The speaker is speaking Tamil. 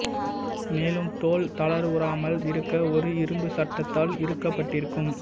மேலும் தோல் தளர்வுறாமல் இருக்க ஒரு இரும்பு சட்டத்தால் இறுக்கப்பட்டிருக்கும்